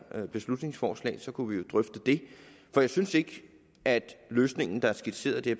beslutningsforslag så kunne vi jo drøfte det for jeg synes ikke at den løsning der er skitseret i det